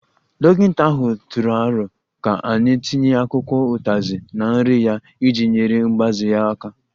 Dọkịta ahụ tụrụ aro ka anyị tinye akwụkwọ utazi na nri ya iji nyere mgbaze ya aka